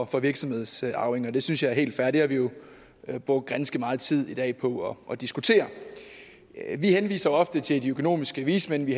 for virksomhedsarvinger det synes jeg er helt fair det har vi jo jo brugt ganske meget tid i dag på at diskutere vi henviser ofte til de økonomiske vismænd vi